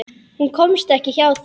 Hún komst ekki hjá því.